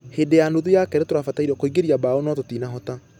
Hĩndĩ ya nuthu ya kerĩ tũrabatairwo kũingĩria bao nũ tũtinahota.